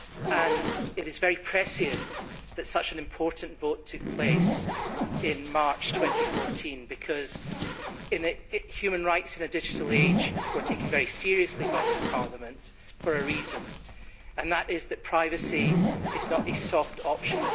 and it is very prescient that such an important vote took place in March 2014 because human rights in a digital age were taken very seriously by this Parliament for a reason, and that is that privacy is not a soft option